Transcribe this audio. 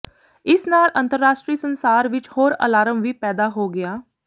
ਇਸ ਨਾਲ ਅੰਤਰਰਾਸ਼ਟਰੀ ਸੰਸਾਰ ਵਿੱਚ ਹੋਰ ਅਲਾਰਮ ਵੀ ਪੈਦਾ ਹੋ ਗਿਆ